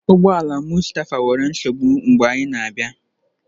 Ụgbọ ala Mustapha nwere nsogbu mgbe anyị na-abịa.